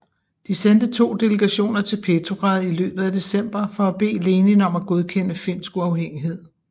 De sendte to delegationer til Petrograd i løbet af december for at bede Lenin om at godkende finsk uafhængighed